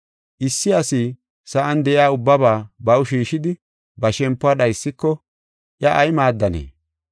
Issi asi sa7an de7iya ubbaba baw shiishidi, ba shempuwa dhaysiko iya ay maaddanee?